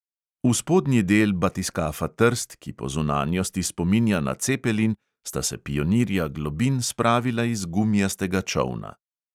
V spodnji del batiskafa trst, ki po zunanjosti spominja na cepelin, sta se pionirja globin spravila iz gumijastega čolna.